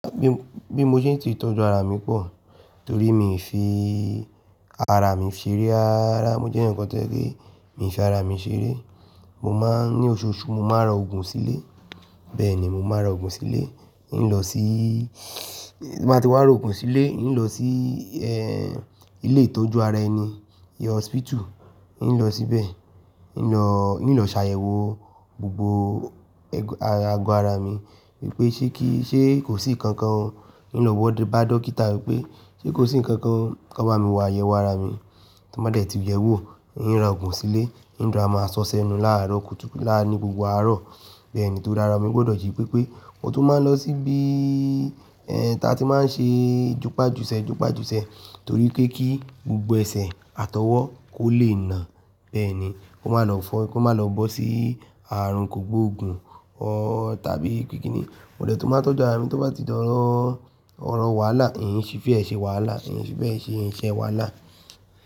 Bí mo ṣe ń ti tọ́jú ara mi pọ̀, torí mi fi ara mi ṣeré. Rárá mo jẹ́ èèyan kan tó jẹ́ pé, mi fi ara mi ṣeré. Mo máa ń ní oṣooṣù, mo máa ra òògùn sílé. Bẹ́ẹ̀ni, mo máa ra òògùn sílé, ì lọ sí, tí n bá ti wá ra òògùn sílé, ì lọ sí eh ilé ìtọ́jú ara ẹni, ìyẹn hospital, ì lọ síbẹ̀, ì lọ, ì lọ ṣàyẹ̀wò gbogbo ẹg- agọ ara mi wípé ṣé kí, ṣé kò sí nǹkan kan, ì lọ wọ́dọ̀, bá dókítà wípé ṣé kò sí nǹkan kan, kí wọ́n bá mi wà yẹ̀wò ara mi. Tí wọ́n bá dẹ̀ ti yẹ̀wò, ì ń ra òògùn sílé, ì ń dẹ rọra máa ṣọ ṣẹnu láàárọ̀, kùtù lá, ní gbogbo àárọ̀. Bẹ́ẹ̀ni torí ara mi gbọdọ̀ jí pépé. Mo tún máa ń lọ sí bí í ẹ ta tí máa ń ṣe júpajùsẹ̀ júpajùsẹ̀ torí pé kí gbogbo ẹsẹ̀ àtọwọ́ kò le nà. Bẹ́ẹ̀ ni, kó má lọ fọ́, kó má lọ bọ́ sí ààrùn kògbóògùn or tàbí pé kíni. Mo dẹ̀ tún máa ń tọ́jú ara mi tí bá ti dọ̀rọ̀ ọ̀rọ̀ wàhálà, ì ń ṣí fi bẹ́ẹ̀ ṣe wàhálà, ì ń ṣí bẹ́ẹ̀ ṣe iṣẹ́ wàhálà.